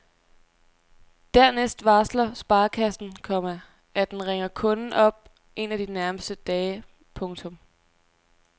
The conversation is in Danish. Dernæst varsler sparekassen, komma at den ringer kunden op en af de nærmeste dage. punktum